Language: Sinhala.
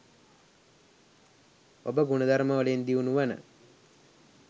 ඔබ ගුණ ධර්ම වලින් දියුණු වන